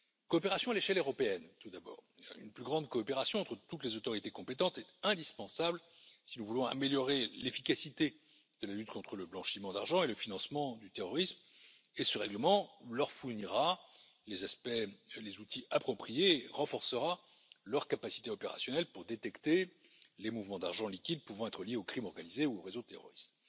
Coopération à l'échelle européenne, tout d'abord. Une plus grande coopération entre toutes les autorités compétentes est indispensable si nous voulons améliorer l'efficacité de la lutte contre le blanchiment d'argent et le financement du terrorisme, et ce règlement leur fournira les aspects et les outils appropriés et renforcera leurs capacités opérationnelles pour détecter les mouvements d'argent liquide pouvant être liés aux crimes organisés ou aux réseaux terroristes.